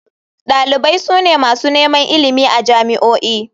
Dalibai su ne masu neman ilimi a jami'o'i.